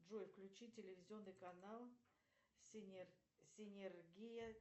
джой включи телевизионный канал синергия